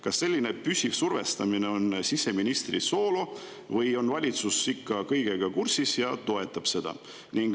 Kas selline püsiv survestamine on siseministri soolo või on valitsus ikka kõigega kursis ja toetab seda?